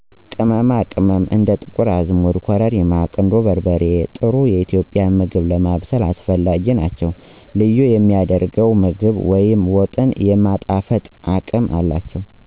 ቅመማ ቅመም እንደ ጥቁር አዝሙድ፣ ኮረሪማ፣ ቁንዶበርበሬ ጥሩ የኢትዮጵያዊ ምግብ ለማብሰል አስፈላጊ ናቸው። ልዩ የሚያደርገው ምግብ ወይም ወጥን የማጣፈጥ አቅም አላቸዉ።